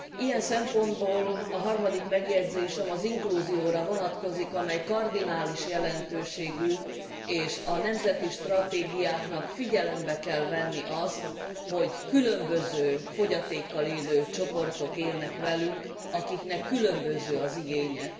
Ilyen szempontból a harmadik megjegyzésem az inklúzióra vonatkozik, amely kardinális jelentőségű, és a nemzeti stratégiáknak figyelembe kell venni azt, hogy különböző fogyatékkal élő csoportok élnek velünk, akiknek különböző az igénye.